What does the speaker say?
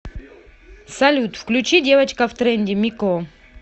салют включи девочка в тренде мико